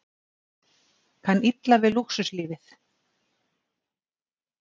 Kann illa við lúxuslífið